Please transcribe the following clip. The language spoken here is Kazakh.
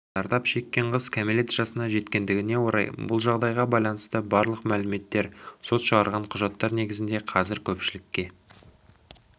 зардап шеккен қыз кәмелет жасына жеткендігіне орай бұл жағдайға байланысты барлық мәліметтер сот шығарған құжаттар негізінде қазір көпшілікке